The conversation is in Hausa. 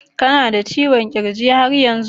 Kana da ciwon kirji yar yanzu?